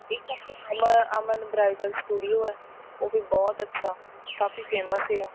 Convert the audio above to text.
ਇੱਕ ਆਪਣੇ Aman Aman bridal studio ਐ ਉਹ ਵੀ ਬਹੁਤ ਅੱਛਾ ਕਾਫੀ famous ਵੀ ਐ